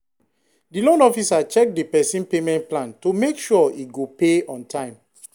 the loan officer check the person payment plan to make sure e go pay on time.